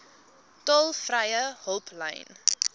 tolvrye hulplyn